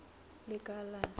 lekala